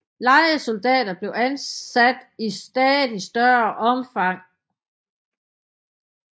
Lejesoldater blev ansat i stadig større omfang